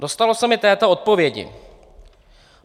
Dostalo se mi této odpovědi.